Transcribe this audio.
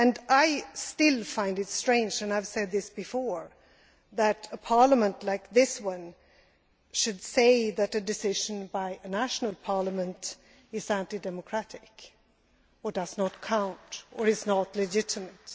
I still find it strange and I have said this before that a Parliament like this one should say that a decision by a national parliament is anti democratic or does not count or is not legitimate.